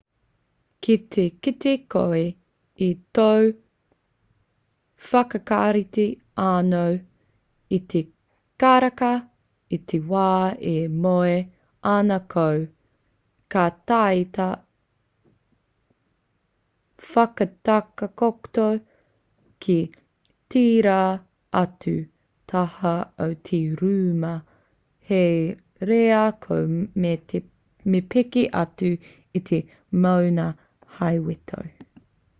ki te kite koe i tō whakarite anō i te karaka i te wā e moe ana koe ka taea te whakatakoto ki tērā atu taha o te rūma hei reira koe me peke atu i te moenga hei weto